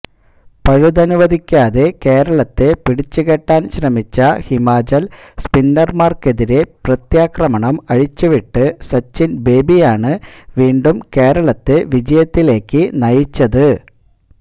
പഴുതനുവദിക്കാതെ കേരളത്തെ പിടിച്ചുകെട്ടാന് ശ്രമിച്ച ഹിമാചല് സ്പിന്നര്മാര്ക്കെതിരെ പ്രത്യാക്രമണം അഴിച്ചുവിട്ട് സചിന് ബേബിയാണ് വീണ്ടും കേരളത്തെ വിജയത്തിലേക്ക് നയിച്ചത്